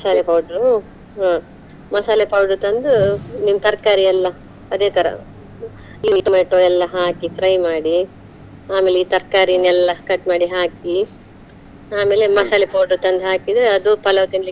ಮಸಾಲೆ powder ಹಾ ಮಸಾಲೆ powder ತಂದು, ನಿಮ್ ತರ್ಕಾರಿ ಎಲ್ಲಾ ಅದೇ ತರ ಈ tomato ಎಲ್ಲಾ ಹಾಕಿ fry ಮಾಡಿ ಆಮೇಲೆ ಈ ತರ್ಕಾರಿನೆಲ್ಲ cut ಮಾಡಿ ಹಾಕಿ, ಆಮೇಲೆ powder ತಂದು ಹಾಕಿದ್ರೆ ಅದು palav ತಿನ್ಲಿಕ್ಕೆ.